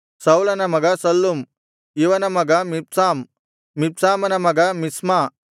ಸೌಲನ ಮಗ ಶಲ್ಲುಮ್ ಇವನ ಮಗ ಮಿಬ್ಸಾಮ್ ಮಿಬ್ಸಾಮನ ಮಗ ಮಿಷ್ಮ